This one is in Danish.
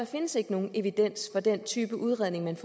findes nogen evidens for den type udredning man